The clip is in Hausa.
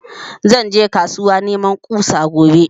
Zan je kasuwa neman ƙusa gobe